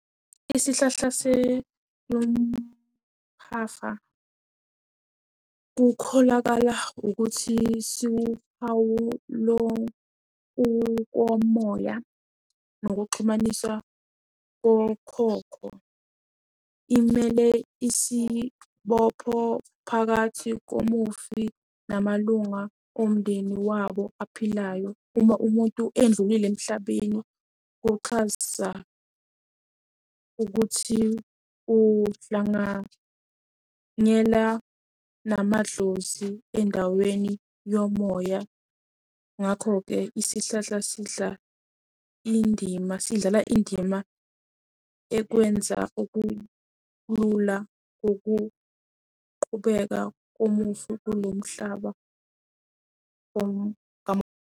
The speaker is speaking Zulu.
Isihlahla mphafa kukholakala ukuthi siwuphawu lo kukomoya nokuxhumaniswa kokhokho. Imele isibopho phakathi komufi namalunga omndeni wabo aphilayo. Uma umuntu edlulile emhlabeni kuxhasa ukuthi uhlanganyela namadlozi endaweni yomoya. Ngakho-ke isihlahla sidla indima, sidlala indima ekwenza ukulula ukuqhubeka komufi kulo mhlaba .